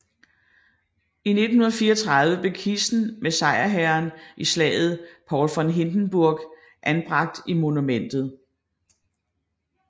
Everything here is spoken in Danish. I 1934 blev kisten med sejrherren i slaget Paul von Hindenburg anbragt i monumentet